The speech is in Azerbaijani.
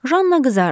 Janna qızardı.